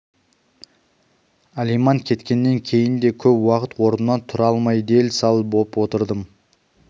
алиман кеткеннен кейін де көп уақыт орнымнан тұра алмай дел-сал боп отырдым